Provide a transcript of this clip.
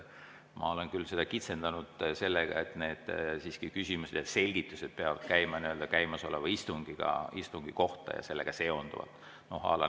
Ma olen küll seda kitsendanud sellega, et need küsimused ja selgitused peavad käima käimasoleva istungi kohta ja sellega seonduma.